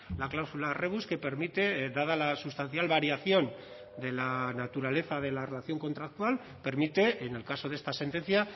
la cláusula rebus que permite dada la sustancial variación de la naturaleza de la relación contractual permite en el caso de esta sentencia